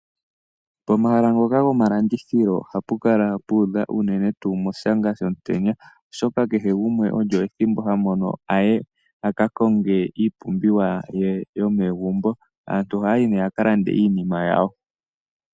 Pomahala ngoka gomalandithilo ohapu kala pu udha unene tuu moshaanga shomutenya, oshoka kehe gumwe olyo ethimbo hamo no aye a ka konge iipumbiwa ye yomegumbo. Aantu ohaya yi nee yaka lande iinima yawo.